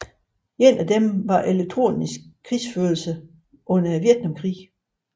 Et af dem var elektronisk krigsførelse under Vietnamkrigen